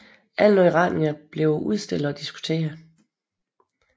Alle nye retninger blev udstillet og diskuteret